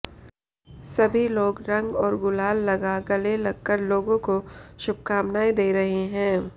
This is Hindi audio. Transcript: सभी लोग रंग और गुलाल लगा गले लगकर लोगों को शुभकामनाएं दे रहे हैं